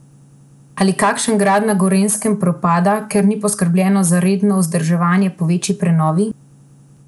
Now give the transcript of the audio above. Ali kakšen grad na Gorenjskem propada, ker ni poskrbljeno za redno vzdrževanje po večji prenovi?